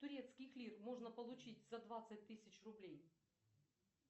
турецких лир можно получить за двадцать тысяч рублей